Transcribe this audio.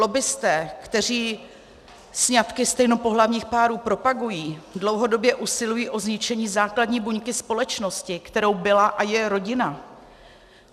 Lobbisté, kteří sňatky stejnopohlavních párů propagují, dlouhodobě usilují o zničení základní buňky společnosti, kterou byla a je rodina.